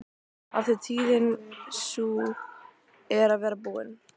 Af því tíðin sú er að verða búin.